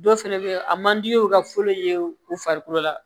Dɔw fɛnɛ be ye a man di ye u ka fɔlɔ ye u farikolo la